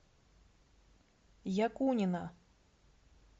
якунина